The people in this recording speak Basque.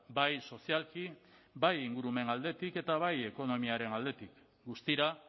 bai sozialki bai ingurumen aldetik eta bai ekonomiaren aldetik guztira